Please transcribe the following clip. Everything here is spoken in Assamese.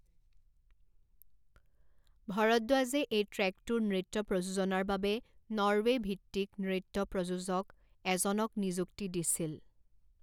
ভৰদ্বাজে এই ট্ৰেকটোৰ নৃত্য প্ৰযোজনাৰ বাবে নৰৱে' ভিত্তিক নৃত্য প্ৰযোজক এজনক নিযুক্তি দিছিল।